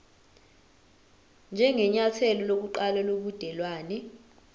njengenyathelo lokuqala lobudelwane